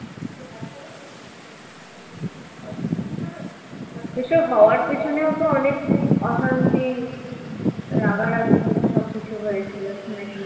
এইসব হওয়ার পেছনেও তো অনেক অশান্তি রাগারাগি সব কিছু হয়েছিল শুনেছিলাম